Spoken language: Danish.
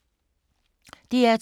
DR2